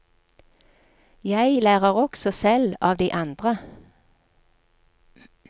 Jeg lærer også selv av de andre.